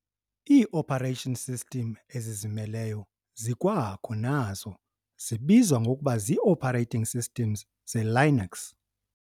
Ii-operating systems ezizimeleyo zikwakho nazo. zibizwa ngokuba zii-operating systems ze-Linux .